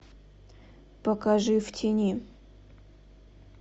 покажи в тени